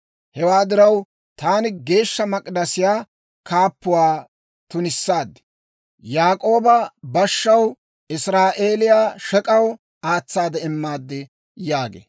Hewaa diraw, taani Geeshsha Mak'idasiyaa kaappatuwaa tunissaad; Yaak'ooba bashshaw, Israa'eeliyaakka shek'aw aatsaade immaad» yaagee.